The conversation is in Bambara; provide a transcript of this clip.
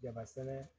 Jaba sɛnɛ